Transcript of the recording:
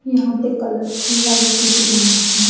यहां पे colourful light दिख रही है।